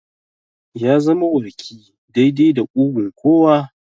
Ya zama warki daidai da ƙugun kowa.